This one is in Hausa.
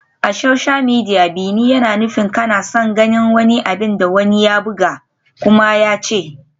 A social media, "bi ni" yana nufin kana son ganin abin da wani ya buga kuma ya ce.